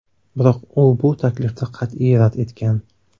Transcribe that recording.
Biroq u bu taklifni qat’iy rad etgan.